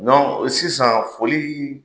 Dɔnku , ɔ sisan foli